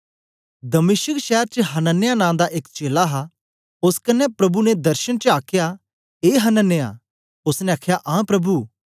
दमिश्क शैर च हनन्याह नां दा एक चेला हा ओस कन्ने प्रभु ने दर्शन च आखया ए हनन्याह ओसने आखया आं प्रभु